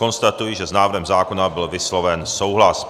Konstatuji, že s návrhem zákona byl vysloven souhlas.